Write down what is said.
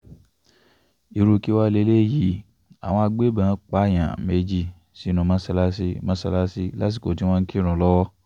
irú kí wàá lélẹ́yìí àwọn agbébọ̀n pààyàn méje sínú mọ́ṣáláṣí mọ́ṣáláṣí lásìkò tí wọ́n ń kírun lọ́wọ́